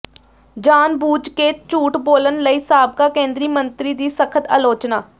ਜਾਣਬੁੱਝ ਕੇ ਝੂਠ ਬੋਲਣ ਲਈ ਸਾਬਕਾ ਕੇਂਦਰੀ ਮੰਤਰੀ ਦੀ ਸਖ਼ਤ ਆਲੋਚਨਾ